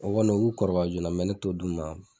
O kɔni o b'u kɔrɔbaya joona mɛ ne to'o d'u ma